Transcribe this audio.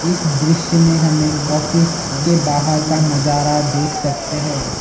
इस दृश्य में हमें एक ऑफिस के बाहर का नजारा देख सकते हैं।